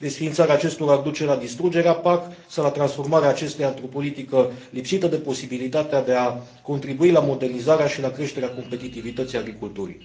Desființarea acestora ar duce la distrugerea PAC sau la transformarea acesteia într o politică lipsită de posibilitatea de a contribui la modernizarea și la creșterea competitivității agriculturii.